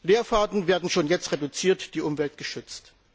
Leerfahrten werden schon jetzt reduziert, die Umwelt wird geschützt.